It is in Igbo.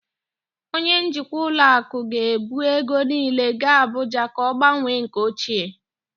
Onye njikwa ụlọ akụ ga-ebu ego niile gaa Abuja ka ọ gbanwee nke ochie